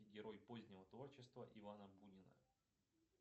герой позднего творчества ивана бунина